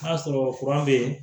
N'a sɔrɔ bɛ yen